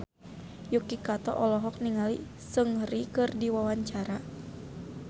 Yuki Kato olohok ningali Seungri keur diwawancara